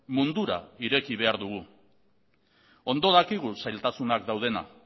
mundura ireki behar dugu ondo dakigu zailtasunak daudela